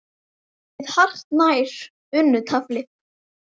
með hartnær unnu tafli.